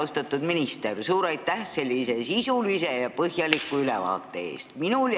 Austatud minister, suur aitäh sisulise ja põhjaliku ülevaate eest!